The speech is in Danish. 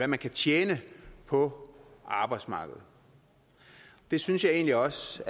man kan tjene på arbejdsmarkedet det synes jeg egentlig også